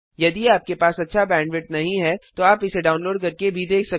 यदि आपके पास अच्छा बैंडविड्थ नहीं है तो आप इसे डाउनलोड करके भी देख सकते हैं